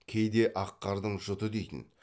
кейде ақ қардың жұты дейтін